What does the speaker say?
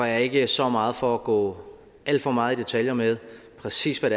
jeg ikke så meget for at gå alt for meget i detaljer med præcis hvad